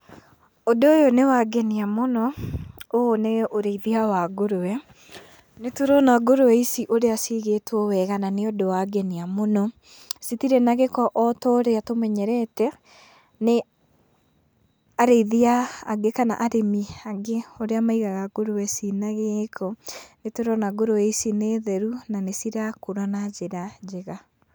Ũndũ ũyũ nĩwangenia mũno, ũũ nĩ ũrĩithia wa ngũrũwe. Nĩtũrona ngũrũwe ici ũrĩa cigĩtwo wega na nĩũndũ wangenia mũno, citirĩ na gĩko ota ũrĩa tũmenyerete nĩ arĩithia angĩ kana arĩmi angĩ ũrĩa maigaga ngũrũwe cina gĩĩko. Nĩtũrona ngũrũwe ici nĩ theru na nĩcirakũra na njĩra njega.